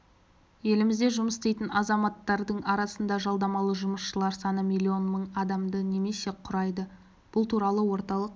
елімізде жұмыс істейтін азаматтардың арасында жалдамалы жұмысшылар саны миллион мың адамды немесе құрайды бұл туралы орталық